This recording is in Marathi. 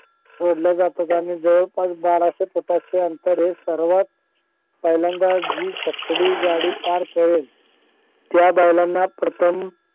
सोडल्या जातात आणि जवळपास बाराशे फुटाचे अंतर हे सर्वात पहिल्यांदा जी छकडी गाडी पार पाडेल त्या बैलांना प्रथम